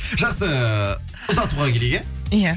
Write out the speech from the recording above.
жақсы ұзатуға келейік иә иә